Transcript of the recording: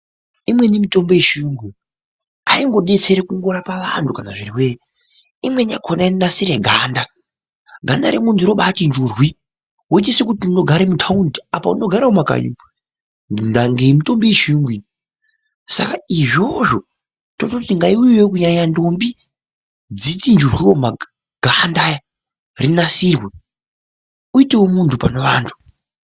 Inweni mitombo yechiyungu aingodetseri kungorapa vantu pazvirwere imweni inonasire ganda, ganda remuntu robati njurwi woita sekuti unogare mutaundi apa unogara mumakanyi umu ndaa ngemitombo yechiyungu iyi, saka izvozvo tototi ngaiuyewo kunyanya ntombi dzichinjewo ganda iri rinasirwe iitewo muntu pane vantu.